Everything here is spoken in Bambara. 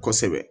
Kosɛbɛ